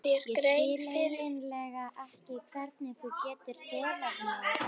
Ég skil eiginlega ekki hvernig þú getur þolað mig.